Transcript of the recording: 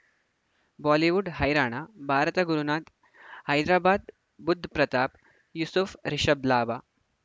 Bollywood ಹೈರಾಣ ಭಾರತ ಗುರುನಾಥ್ ಹೈದರಾಬಾದ್ ಬುಧ್ ಪ್ರತಾಪ್ ಯೂಸುಫ್ ರಿಷಬ್ ಲಾಭ